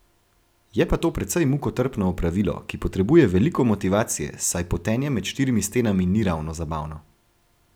Je pa to precej mukotrpno opravilo, ki potrebuje veliko motivacije, saj potenje med štirimi stenami ni ravno zabavno.